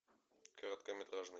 короткометражный